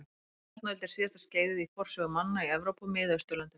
Járnöld er síðasta skeiðið í forsögu manna í Evrópu og Miðausturlöndum.